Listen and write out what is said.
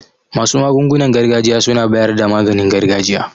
Masu magungunan gargajiya suna bayar da maganin gargajiya.